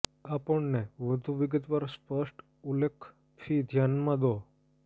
આપણને વધુ વિગતવાર સ્પષ્ટ ઉલ્લેખ ફી ધ્યાનમાં દો